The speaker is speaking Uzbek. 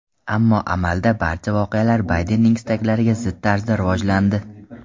Ammo amalda barcha voqealar Baydenning istaklariga zid tarzda rivojlandi.